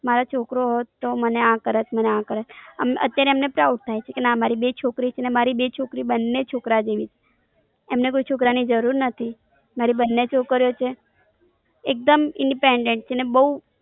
મારો છોકરો હોટ તો મને આ કરાત મને આમ કેરેત અત્યારે એમને Proud થઇ છે કે ના મારી બે છોકરી છે ને બંને છોકરી બંને છોકરા જેવી છે એમને કોઈ છોકરા ની જરૂર નથી મારી બંને છોકરીઓ છે એક Dem Independent છે ને બોવ